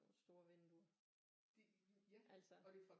Nogle store vinduer altså